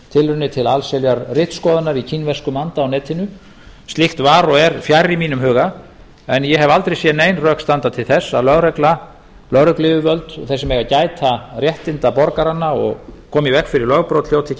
tilraunir til allsherjar ritskoðunar í kínverskum anda á netinu slíkt var og er fjarri mínum huga en ég hef aldrei séð nein rök standa til þess að lögregluyfirvöld þau sem eiga að gæta réttinda borgaranna og koma í veg fyrir lögbrot hljóti ekki að